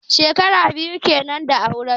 Shekara biyu kenan da auren su.